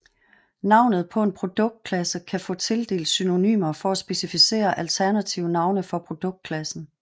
Navnet på en produktklasse kan få tildelt synonymer for at specificere alternative navne for produktklassen